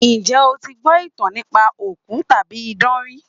Ǹjé o ti gbọ́ ìtàn nípa òkú tàbí idán rí?